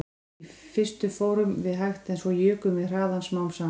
Í fyrstu fórum við hægt en svo jukum við hraðann smám saman